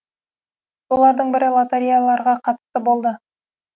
солардың бірі лотереяларға қатысты болды